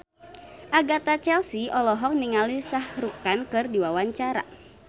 Agatha Chelsea olohok ningali Shah Rukh Khan keur diwawancara